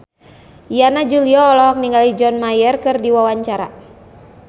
Yana Julio olohok ningali John Mayer keur diwawancara